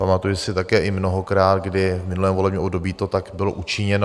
Pamatuji si také i mnohokrát, kdy v minulém volebním období to tak bylo učiněno.